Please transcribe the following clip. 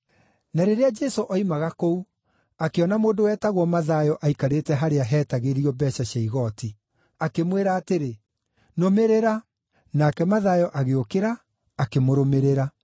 Na rĩrĩa Jesũ oimaga kũu, akĩona mũndũ wetagwo Mathayo aikarĩte harĩa heetagĩrio mbeeca cia igooti. Akĩmwĩra atĩrĩ, “Nũmĩrĩra,” nake Mathayo agĩũkĩra, akĩmũrũmĩrĩra.